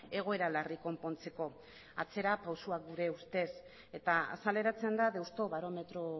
egoera larriak konpontzeko atzerapausu gure ustez eta azaleratzen da deustobarometro